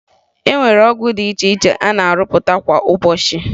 E nwere ọgwụ dị iche iche a na-arụpụta kwa ụbọchị